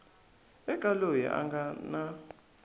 eka loyi a nga na